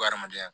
Adamadenya